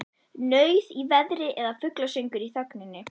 Nauð í veðri eða fuglasöngur í þögninni.